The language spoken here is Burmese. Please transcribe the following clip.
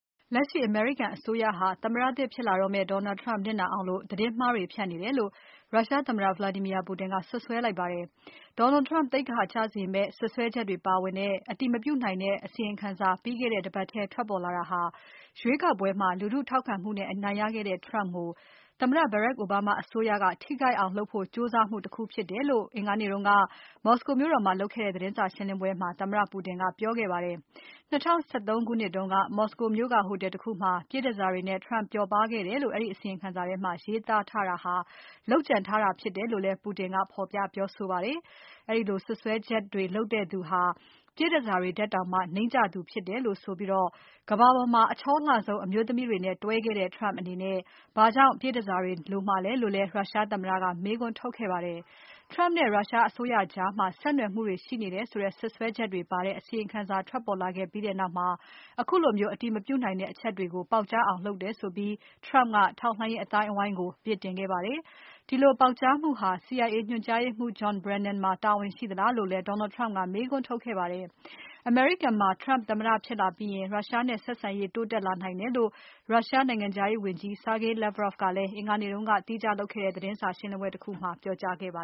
လက်ရှိ အမေရိကန်အစိုးရဟာ သမ္မတသစ်ဖြစ်လာမယ့် Donald Trump နစ်နာအောင် သတင်းမှားတွေ ဖြန့်နေတယ်လို့ ရုရှားသမ္မတ Vladimir Putin က ပြောလိုက်ပါတယ်။ Donald Trump သိက္ခာကျစေတဲ့ စွပ်စွဲချက်တွေ ပါဝင်တဲ့ အတည်မပြုနိုင်တဲ့ အစီရင်ခံစာ ပြီးခဲ့တဲ့တပတ်ထဲ ထွက်ပေါ်လာတာဟာ ရွေးကောက်ပွဲမှာ လူထုထောက်ခံမှုနဲ့အနိုင်ရခဲ့တဲ့ Trump ကို သမ္မတ Barack Obama အစိုးရက ထိခိုက်အောင်လုပ်ဖို့ ကြိုးစားမှုတခုဖြစ်တယ်လို့ အင်္ဂါနေ့က မော်စကိုမြို့တော်မှာ လုပ်ခဲ့တဲ့ သတင်းစာရှင်းလင်းပွဲမှာ သမ္မတပူတင်က ပြောခဲ့ပါတယ်။ ၂၀၁၃ ခုနှစ်တုန်းက မော်စကိုမြို့ကဟိုတယ်တခုမှာ ပြည့်တန်ဆာတွေနဲ့ Trump ပျော်ပါးခဲ့တယ်လို့ အဲဒီအစီရင်ခံစာထဲမှာရေးသားထားတာဟာ လုပ်ကြံထားတာဖြစ်တယ်လို့ ပူတင်က ဖော်ပြပြောဆိုပါတယ်။ အဲဒီစွပ်စွပ်ချက်တွေလုပ်သူတွေဟာ ပြည့်တန်ဆာတွေထက်အောင် နိမ့်ကျသူတွေဖြစ်တယ်လို့ဆိုပြီး ကမ္ဘာပေါ်မှာ အချောလှဆုံး အမျိုးသမီးတွေနဲ့ တွဲခဲ့တဲ့ Trump အနေနဲ့ ဘာကြောင့် ပြည့်တန်ဆာတွေ လိုမှာလဲလို့လည်း ရုရှားသမ္မတက မေးခွန်းထုတ်ခဲ့ပါတယ်။ Trump နဲ့ ရုရှားအစိုးရကြားမှာ ဆက်နွယ်မှုတွေ ရှိတယ်ဆိုတဲ့ စွပ်စွဲချက်တွေပါတဲ့ အစီရင်ခံ ပေါ်ထွက်လာပြီးတဲ့နောက် ခုလို အတည်မပြုနိုင်တဲ့ အချက်တွေကို ပေါက်ကြားအောင်လုပ်တယ်ဆိုပြီး Trump က ထောက်လှမ်းရေးအသိုင်းအဝိုင်းကို အပြစ်တင်ခဲ့ပါတယ်။ ဒီလိုပေါက်ကြားမှုဟာ CIA ညွန်ကြားရေးမှူး John Brennan မှာ တာဝန်ရှိသလားလို့လည်း Donald Trump ကမေးခွန်းထုတ်ခဲ့ပါတယ်။ အမေရိကန်မှာ Trump သမ္မတဖြစ်လာပြီးရင် Russia နဲ့ဆက်ဆံရေး တိုးတက်လာနိုင်တယ်လို့ ရုရှားနိုင်ငံခြားရေးဝန်ကြီး Sergei Lavrov ကလည်း အင်္ဂါနေ့ကလုပ်တဲ့ သီးခြားသတင်းစာရှင်းပွဲမှာ ပြောကြားခဲ့ပါ